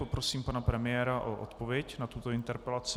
Poprosím pana premiéra o odpověď na tuto interpelaci.